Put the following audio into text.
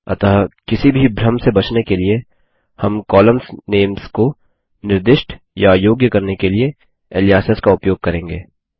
अतः किसी भी भ्रम से बचने के लिए हम कॉलम्स नेम्स को निर्दिष्ट या योग्य करने के लिए एलीयसेस का उपयोग करेंगे